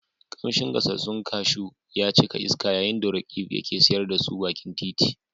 Kamshin gasassun kashu ya cika iska yayin da Roqeeb ke siyar da su bakin titi.